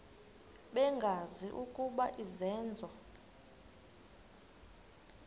bengazi ukuba izenzo